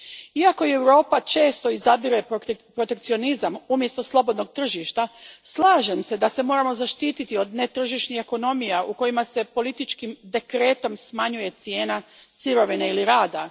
Iako i Europa često izabire protekcionizam umjesto slobodnog tržišta, slažem se da se moramo zaštititi od netržišnih ekonomija u kojima se političkim dekretom smanjuje cijena sirovine ili rada.